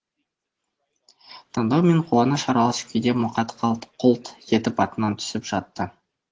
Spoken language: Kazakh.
таңдану мен қуаныш аралас күйде мұқа қалт құлт етіп атынан түсіп жатты